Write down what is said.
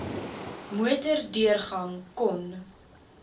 motor deurgang kon